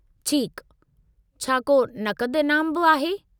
ठीकु, छा को नक़द इनामु बि आहे?